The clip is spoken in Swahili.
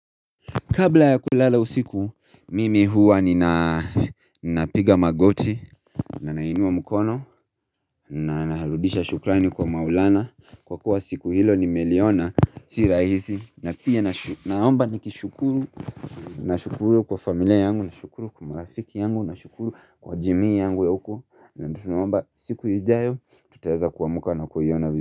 Kabla ya kulala usiku, mimi huwa ninapiga magoti, na nainua mkono, na nahaludisha shukrani kwa maulana Kwa kuwa siku hilo nimeliona, si rahisi, na pia naomba nikishukuru, nashukuru kwa familia yangu, na shukuru kwa marafiki yangu, nashukuru kwa jimi yangu ya huko na tu naomba siku ijayo, tutaeza kuamka na kuiona vizu.